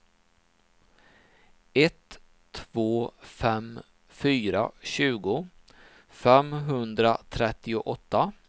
ett två fem fyra tjugo femhundratrettioåtta